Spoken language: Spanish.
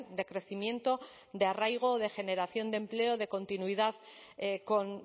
de crecimiento de arraigo de generación de empleo de continuidad con